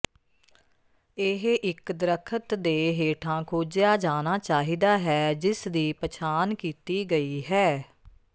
ਇਹ ਇੱਕ ਦਰੱਖਤ ਦੇ ਹੇਠਾਂ ਖੋਜਿਆ ਜਾਣਾ ਚਾਹੀਦਾ ਹੈ ਜਿਸ ਦੀ ਪਛਾਣ ਕੀਤੀ ਗਈ ਹੈ